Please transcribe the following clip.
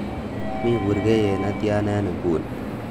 mii burgeiyet netyan en inguni